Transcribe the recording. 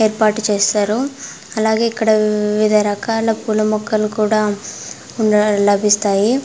ఏర్పాటు చేసారు. అలాగే ఇక్కడ వివిధ రకాల పూల మొక్కలు కూడా ఉండడం లభిస్తాయి.